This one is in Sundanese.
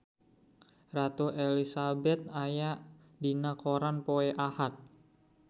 Ratu Elizabeth aya dina koran poe Ahad